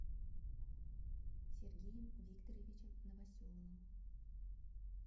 сергеем викторовичем новоселовым